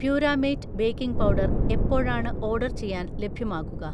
പ്യുരാമേറ്റ് baking powder എപ്പോഴാണ് order ചെയ്യാൻ ലഭ്യമാകുക?